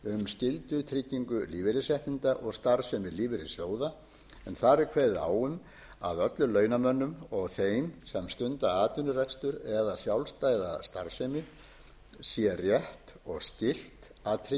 skyldutryggingu lífeyrisréttinda og starfsemi lífeyrissjóða en þar er kveðið á um að öllum launamönnum og þeim sem stunda atvinnurekstur eða sjálfstæða starfsemi sé rétt og skylt að tryggja sér